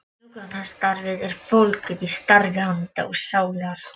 Hjúkrunarstarfið er fólgið í starfi handa og sálar.